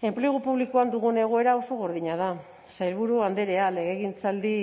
enplegu publikoan dugun egoera oso gordina da sailburu andrea legegintzaldi